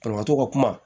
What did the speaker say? Banabaatɔ ka kuma